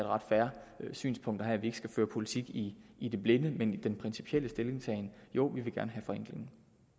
ret fair synspunkt at have at vi ikke skal føre politik i i det blinde men i den principielle stillingtagen siger jo vi vil gerne have forenklingen